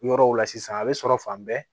Yɔrɔw la sisan a bɛ sɔrɔ fan bɛɛ